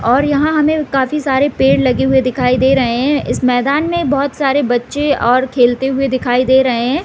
और यहाँ हमें काफी सारे पेड़ लगे हुए दिखाई दे रहे हैं इस मैदान में बहुत सारे बच्चे और खेलते हुए दिखाई दे रहे हैं।